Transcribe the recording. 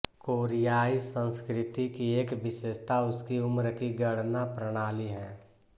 कोरियाई संस्कृति की एक विशेषता उसकी उम्र की गणना प्रणाली है